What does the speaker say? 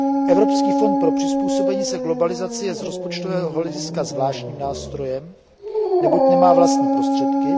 Evropský fond pro přizpůsobení se globalizaci je z rozpočtového hlediska zvláštním nástrojem, neboť nemá vlastní prostředky.